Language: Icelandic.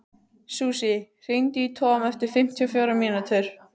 Susie, hringdu í Tom eftir fimmtíu og fjórar mínútur.